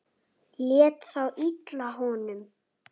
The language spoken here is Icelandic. Lét þá illa í honum.